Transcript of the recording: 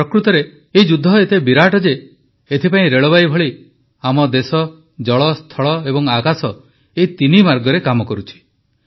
ପ୍ରକୃତରେ ଏହି ଯୁଦ୍ଧ ଏତେ ବିରାଟ ଯେ ଏଥିପାଇଁ ରେଳବାଇ ଭଳି ହିଁ ଆମ ଦେଶ ଜଳ ସ୍ଥଳ ଏବଂ ଆକାଶ ଏହି ତିନି ମାର୍ଗରେ କାମ କରୁଛି